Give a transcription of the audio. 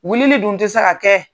Wilili dun tɛ se ka kɛ.